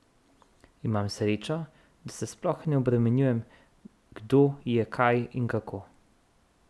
Imam srečo, da se sploh ne obremenjujem, kdo je kaj in kako.